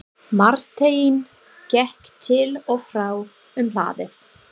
Marteinn gekk til og frá um hlaðið.